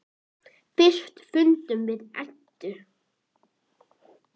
Fyrsti fundur við Eddu.